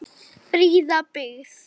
Fríða byggð.